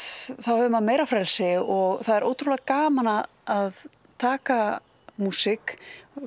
hefur maður meira frelsi og það er gaman að taka músík